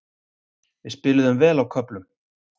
Við spiluðum vel á köflum.